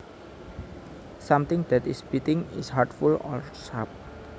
Something that is biting is hurtful or sharp